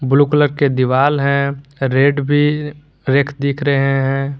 Blue colour के दीवाल हैं रेड भी रैक दिख रहे हैं।